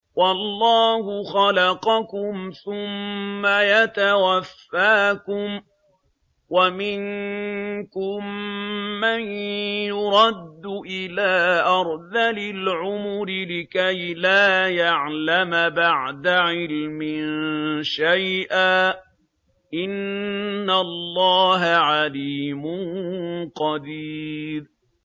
وَاللَّهُ خَلَقَكُمْ ثُمَّ يَتَوَفَّاكُمْ ۚ وَمِنكُم مَّن يُرَدُّ إِلَىٰ أَرْذَلِ الْعُمُرِ لِكَيْ لَا يَعْلَمَ بَعْدَ عِلْمٍ شَيْئًا ۚ إِنَّ اللَّهَ عَلِيمٌ قَدِيرٌ